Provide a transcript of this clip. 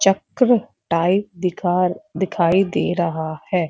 चक्क्र type दिखार दिखाई दे रहा है।